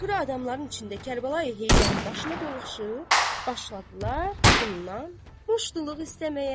Axırı adamların içində Kərbəlayı Heydərin başına doluxşub, başladılar bundan muştuluq istəməyə.